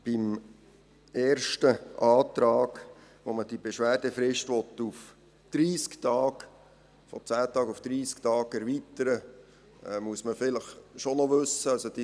Beim ersten Antrag, mit dem man die Beschwerdefrist von 10 Tagen auf 30 Tage erweitern will, muss man vielleicht schon noch etwas wissen.